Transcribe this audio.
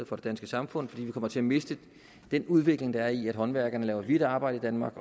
for det danske samfund fordi vi kommer til at miste den udvikling der er i at håndværkerne laver hvidt arbejde i danmark